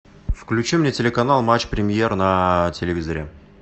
включи мне телеканал матч премьер на телевизоре